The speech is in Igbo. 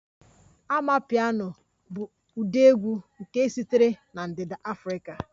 Amapiano bụ ụdị egwu nke sitere na ndịda Afrika